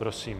Prosím.